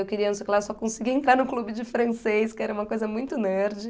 Eu queria, não sei o que lá, só conseguia entrar no clube de francês, que era uma coisa muito nerd.